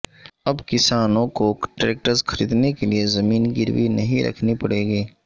اب کسانوں کوٹریکٹرز خریدنے کے لیے زمین گروی نہیں رکھنی پڑے گی